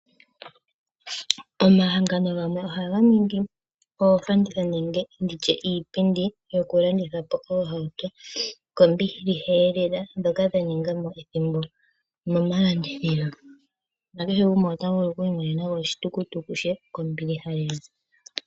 Omahangano gamwe ohaga ningi oofanditha nenge ndi tye iipindi yo ku landitha po oohauto ko mbiliha ee lela dhoka dha ningamo ethimbo mo malandithilo, na kehe gumwe ota vulu oku I monena mo oshitutuku she ko mbiliha ee lela.